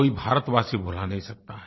कोई भारतवासी भुला नहीं सकता है